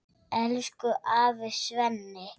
Elsku afi Svenni.